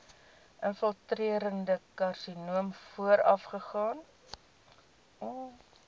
infiltrerende karsinoom voorafgaan